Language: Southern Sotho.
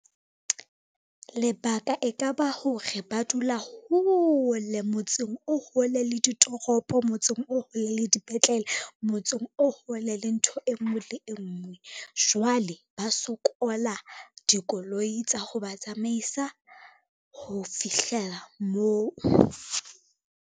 Lebaka e ka ba hore ba dula hole motseng o hole le ditoropo, motseng o hole le dipetlele, motseng o hole le ntho e ngwe le e ngwe, jwale ba sokola dikoloi tsa ho ba tsamaisa ho fihlela moo.